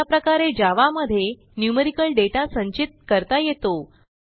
अशाप्रकारे जावा मध्ये numerical data संचित करता येतो